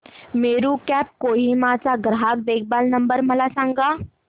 Meru cabs Kohima चा ग्राहक देखभाल नंबर मला सांगा